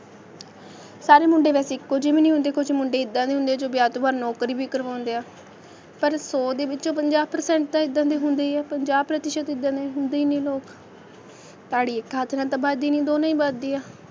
ਸਾਰੇ ਮੁੰਡੇ ਵੈਸੇ ਇੱਕੋ ਜਿਹੇ ਵੀ ਨਹੀਂ ਹੁੰਦੇ ਕੁੱਝ ਮੁੰਡੇ ਏਦਾਂ ਦੇ ਹੁੰਦੇ ਆਂ, ਜੋ ਵਿਆਹ ਤੋਂ ਬਾਅਦ ਨੌਕਰੀ ਵੀ ਕਰਵਾਉਂਦੇ ਆ, ਪਰ ਸੌ ਦੇ ਵਿਚੋਂ ਪੰਜਾਹ percent ਤਾਂ ਏਦਾਂ ਦੇ ਹੁੰਦੇ ਹੀ ਆ, ਪੰਜਾਹ ਪ੍ਰਤੀਸ਼ਤ ਤਾਂ ਏਦਾਂ ਦੇ ਹੁੰਦੇ ਈ ਨੇ ਲੋਕ, ਤਾੜੀ ਇਕ ਹੱਥ ਨਾਲ ਵੱਜਦੀ ਨਹੀਂ, ਦੋ ਨਾਲ ਵੱਜਦੀ ਆ,